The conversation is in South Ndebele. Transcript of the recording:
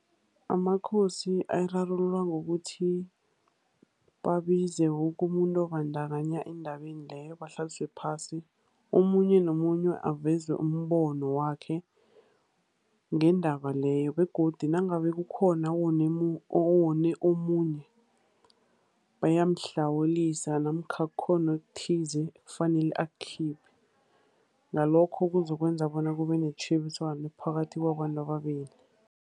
Amakhosi ayirarulula ngokuthi babize woke umuntu obandakanya endabeni leyo, bahlaliswe phasi. Omunye nomunye aveze umbono wakhe ngendaba leyo, begodu nangabe kukhona owone omunye, bayamhlawulisa namkha kukhona okuthize ekufanele akukhiphe. Ngalokho, kuzokwenza bona kube netjhebiswano phakathi kwabantu ababili.